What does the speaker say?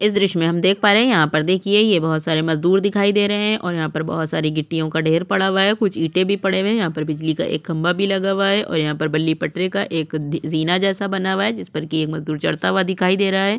इस द्र्श्य में हम देख पा रहै है यहाँ पर देखिए ये बहोत सारे मजदूर दिखाई दे रहै है ओर यहाँ पर बहोत सारी गिट्टियों का ढेर पड़ा हुआ है कुछ इंटे भी पड़े हुए है यहाँ पर बिजली का एक खंभा भी लगा हुआ है और यहाँ पर बल्ली पटरे का एक दी ज़ीना जैसा बना हुआ है जिस पर की एक मज़दूर चड़ता हुआ दिखाई दे रहा है।